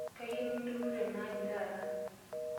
Kayieu nindurrudurru tenaaji taata.